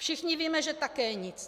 Všichni víme, že také nic.